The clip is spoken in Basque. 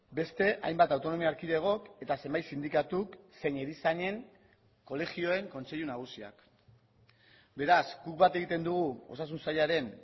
beste hainbat autonomia erkidegok eta zenbait sindikatuk zein erizainen kolegioen kontseilu nagusiak beraz guk bat egiten dugu osasun sailaren